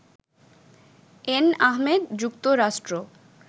N Ahmed, যুক্তরাষ্ট্র